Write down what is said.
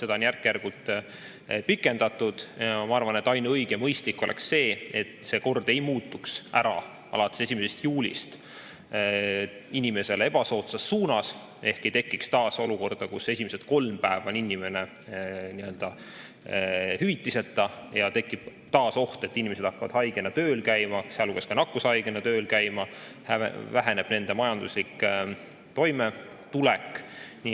Seda on järk-järgult pikendatud ja ma arvan, et ainuõige ja mõistlik oleks see, et see kord ei muutuks alates 1. juulist inimesele ebasoodsas suunas ehk ei tekiks taas olukorda, kus esimesed kolm päeva on inimene hüvitiseta ning tekib taas oht, et inimesed hakkavad haigena, sealhulgas ka nakkushaigena, tööl käima ning väheneb nende majanduslik toimetulek.